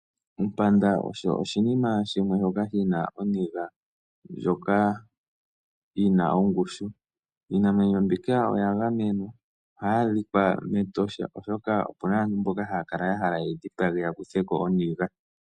Ompanda osho oshinima shimwe shoka shina yina ongushi iimamwenyo mbika oya gamenwa ohayi adhika mEtosha oshoka opena aantu mboka haa kala ya hala ye dhi tale ya kuthe ko oniga ndjoka yina ongushu.